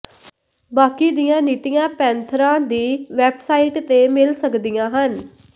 ਬਾਕੀ ਦੀਆਂ ਨੀਤੀਆਂ ਪੈਨਥਰਾਂ ਦੀ ਵੈਬਸਾਈਟ ਤੇ ਮਿਲ ਸਕਦੀਆਂ ਹਨ